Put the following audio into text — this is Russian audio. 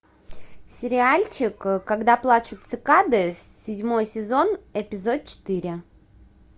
сериальчик когда плачут цикады седьмой сезон эпизод четыре